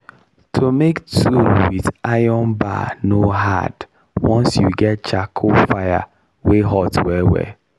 to make tool with iron bar no hard once you get charcoal fire wey hot well well.